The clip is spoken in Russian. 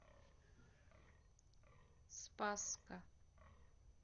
спасска